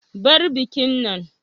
Bar bikin nan.